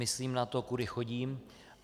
Myslím na to, kudy chodím.